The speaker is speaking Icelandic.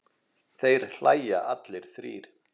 Þeir hlæja allir þrír.